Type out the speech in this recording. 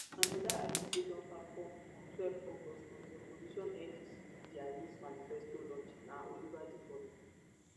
anoda artiste wey don perform on twelve august for di opposition ndc dia youth manifesto launch na olivetheboy